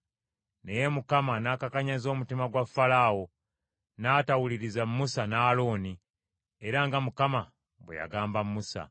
Naye Mukama n’akakanyaza omutima gwa Falaawo, n’atawuliriza Musa ne Alooni, era nga Mukama bwe yagamba Musa.